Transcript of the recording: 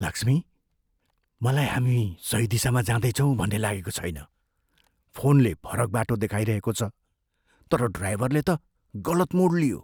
लक्ष्मी, मलाई हामी सही दिशामा जाँदैछौँ भन्ने लागेको छैन। फोनले फरक बाटो देखाइरहेको छ तर ड्राइभरले त गलत मोड लियो।